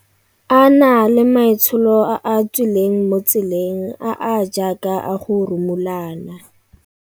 A na le maitsholo a a tswi leng mo tseleng, a a jaaka a go rumulana.